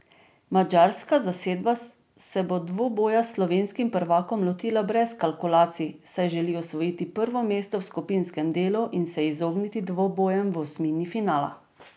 Madžarska zasedba se bo dvoboja s slovenskim prvakom lotila brez kalkulacij, saj želi osvojiti prvo mesto v skupinskem delu in se izogniti dvobojem v osmini finala.